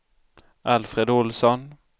Alfred Ohlsson